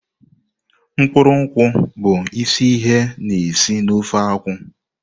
Mkpụrụ nkwu bụ isi ihe na-esi na ofe nkwụ.